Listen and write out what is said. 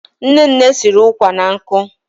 Nne nne siri ụkwà na nkụ.